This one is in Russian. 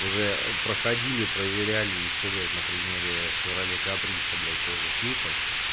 уже проходили проверяли ещё блять на примере шевроле каприса блять тоже с люком